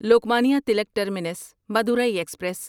Lokmanya Tilak terminus Madurai express